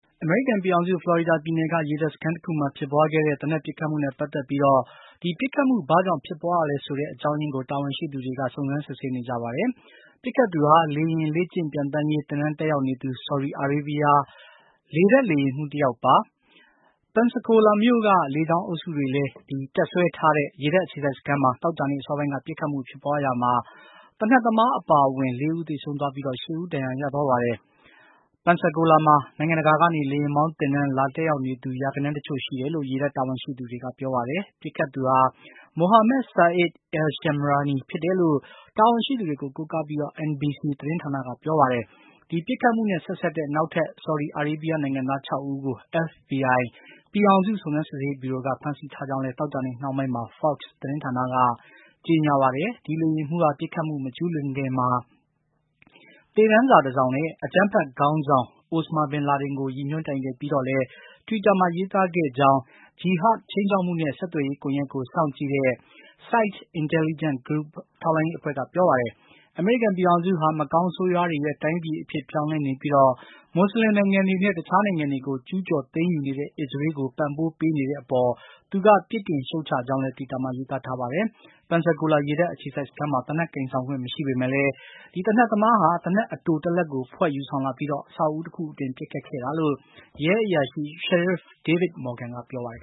အမေရိကန်ပြည်ထောင်စု ဖလော်ရီဒါပြည်နယ်က ရေတပ်စခန်းတခုမှာ ဖြစ်ပွားခဲ့တဲ့ သေနတ်ပစ်ခတ်မှုနဲ့ ပတ်သက်ပြီး ဒီပစ်ခတ်မှု ဘာကြောင့်ဖြစ်ပွားရလဲဆိုတဲ့ အကြောင်းရင်းကို တာဝန်ရှိသူတွေ စုံစမ်းစစ်ဆေးနေကြပါတယ်။ ပစ်ခတ်သူဟာ လေယာဉ် လေ့ကျင့်ပျံသန်းရေး သင်တန်းတက်ရောက်နေသူ ဆော်ဒီအာရေဗျ လေတပ် လေယာဉ်မှူးတယောက်ပါ။ Pensacola မြို့က လေကြောင်းအုပ်စုတွေလည်း တပ်စွဲထားတဲ့ ရေတပ်အခြေစိုက်စခန်းမှာ သောကြာနေ့ အစောပိုင်းက ပစ်ခတ်မှုဖြစ်ပွားရာမှာ သေနတ်သမား အပါအဝင် ၄ ဦး သေဆုံးသွားပြီး ၈ ဦး ဒဏ်ရာရသွားပါတယ်။ Pensacola မှာ နိုင်ငံတကာကနေ လေယာဉ်မောင်းသင်တန်း လာတက်ရောက်နေသူ ရာဂဏန်းတချို့ရှိတယ်လို့ ရေတပ်တာဝန်ရှိသူတွေက ပြောပါတယ်။ ပစ်ခတ်သူဟာ Mohammed Saeed Alshamrani ဖြစ်တယ်လို့ တာဝန်ရှိသူတွေကို ကိုးကားပြီး NBC သတင်းဌာနက ပြောပါတယ်။ ဒီပစ်ခတ်မှုနဲ့ ဆက်စပ်တဲ့ နောက်ထပ် ဆော်ဒီအာရေဗျနိုင်ငံသား ၆ ဦးကို FBI ပြည်ထောင်စုစုံစမ်းစစ်ဆေးရေးဗျူရိုက ဖမ်းဆီးထားကြောင်းလည်း သောကြာနေ့ နှောင်းပိုင်းမှာ Fox သတင်းဌာနက ကြေညာပါတယ်။ ဒီလေယာဉ်မှူးဟာ ပစ်ခတ်မှုမကျူးလွန်ခင်မှာ သေတမ်းစာတစောင်နဲ့ အကြမ်းဖက်ခေါင်းဆောင် Osama bin Laden ကို ရည်ညွှန်းတိုင်တည်ပြီးတော့လည်း တွစ်တာ လူမှုကွန်ရက်စာမျက်နှာမှာ ရေးသားခဲ့ကြောင်း ဂျီဟဒ်ခြိမ်းခြောက်မှုနဲ့ ဆက်သွယ်ရေးကွန်ရက်ကို စောင့်ကြည့်တဲ့ SITE Intelligence Group ထောက်လှမ်းရေးအဖွဲ့က ပြောပါတယ်။ အမေရိကန်ပြည်ထောင်စုဟာ မကောင်းဆိုးရွားတွေရဲ့ တိုင်းပြည်အဖြစ် ပြောင်းလဲနေပြီး မွတ်စလင်နိုင်ငံတွေနဲ့ တခြားနိုင်ငံတွေကို ကျူးကျော်သိမ်းယူနေတဲ့ အစ္စရေးကို ပံ့ပိုးပေးနေတဲ့အပေါ် သူက ပြစ်တင်ရှုတ်ချကြောင်းလည်း တွစ်တာ လူမှုကွန်ရက်စာမျက်နှာမှာ ရေးသားထားတာပါ။ Pensacola ရေတပ်အခြေစိုက်စခန်းမှာ သေနတ်ကိုင်ဆောင်ခွင့် မရှိပေမယ့်လည်း သေနတ်သမားဟာ သေနတ်အတိုတလက်ကို ဖွက်ယူဆောင်လာပြီး အဆောက်အဦတခုအတွင်း ပစ်ခတ်ခဲ့တာလို့ ရဲအရာရှိ Sheriff David Morgan က ပြောပါတယ်